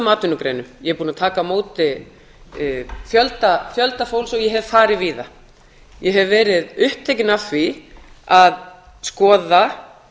atvinnugreinum ég er búin að taka á móti fjölda fólks og ég hef farið víða ég hef verið upptekin af því að skoða